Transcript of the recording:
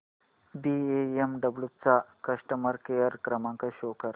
BMW चा customer care क्रमांक show कर